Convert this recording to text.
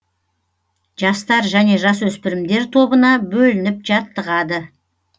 жастар және жасөспірімдер тобына бөлініп жаттығады